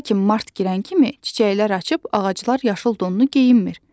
Lakin mart girən kimi çiçəklər açıb ağaclar yaşıl donnu geyinmir.